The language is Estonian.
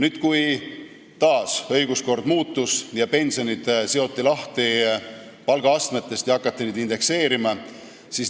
Mingil ajal õiguskord taas muutus, pensionid seoti palgaastmetest lahti ja neid hakati indekseerima.